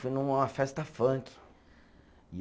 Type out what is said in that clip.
Fui numa festa funk.